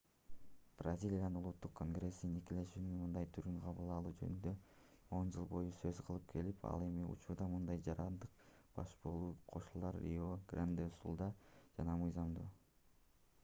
бразилиянын улуттук конгресси никелешүүнүн мындай түрүн кабыл алуу жөнүндө 10 жыл бою сөз кылып келет ал эми учурда мындай жарандык баш кошуулар рио-гранде-ду-сулда гана мыйзамдуу